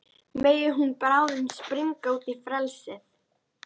Megi hún bráðum springa út í frelsið.